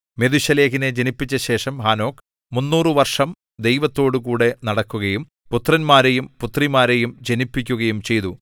മെഥൂശലഹിനെ ജനിപ്പിച്ച ശേഷം ഹാനോക്ക് 300 വർഷം ദൈവത്തോടുകൂടെ നടക്കുകയും പുത്രന്മാരെയും പുത്രിമാരെയും ജനിപ്പിക്കുകയും ചെയ്തു